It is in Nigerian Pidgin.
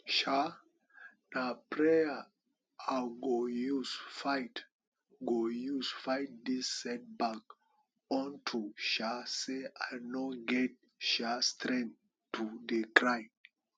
um na prayer i go use fight go use fight dis setback unto um say i no get um strength to dey cry